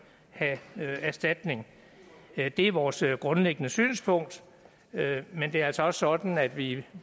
have erstatning det er vores grundlæggende synspunkt men det er altså også sådan at vi